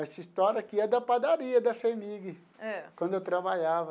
Essa história aqui é da padaria da FHEMIG. Ãh. Quando eu trabalhava.